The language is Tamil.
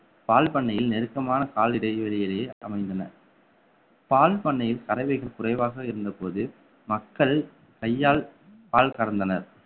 பால் பண்ணையில் நெருக்கமான கால் இடைவெளி இடையே அமைந்தன பால் பண்ணையில் கறவைகள் குறைவாக இருந்தபோது மக்கள் கையால் பால் கறந்தனர்